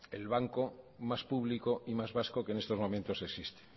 el banco más público y más vasco que en estos momentos existe